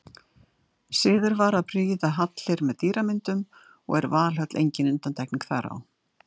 Siður var að prýða hallir með dýramyndum og er Valhöll engin undantekning þar á.